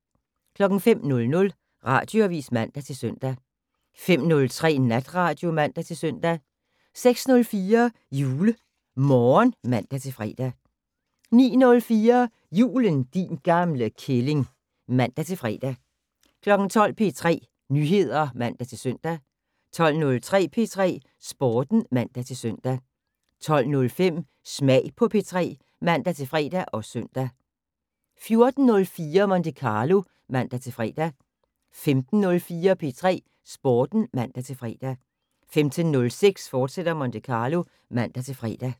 05:00: Radioavis (man-søn) 05:03: Natradio (man-søn) 06:04: JuleMorgen (man-fre) 09:04: Julen, din gamle kælling (man-fre) 12:00: P3 Nyheder (man-søn) 12:03: P3 Sporten (man-søn) 12:05: Smag på P3 (man-fre og søn) 14:04: Monte Carlo (man-fre) 15:04: P3 Sporten (man-fre) 15:06: Monte Carlo, fortsat (man-fre)